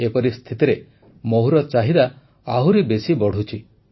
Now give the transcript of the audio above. ଏପରି ସ୍ଥିତିରେ ମହୁର ଚାହିଦା ଆହୁରି ବେଶି ବଢ଼ୁଛି